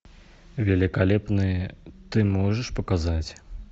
великолепные ты можешь показать